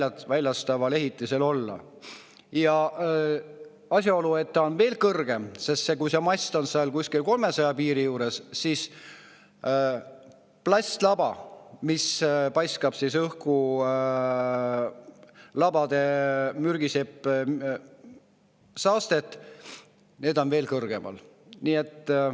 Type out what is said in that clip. Ja asjaolu, et kui on veel kõrgem, sest mast on kuskil 300 meetri piiri juures, siis see plastlaba, mis paiskab õhku labade mürgist saastet, on veel kõrgemal.